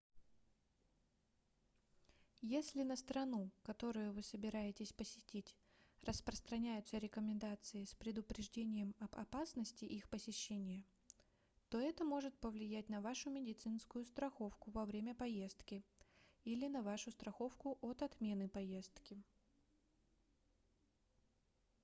если на страну которую вы собираетесь посетить распространяются рекомендации с предупреждением об опасности их посещения то это может повлиять на вашу медицинскую страховку во время поездки или на вашу страховку от отмены поездки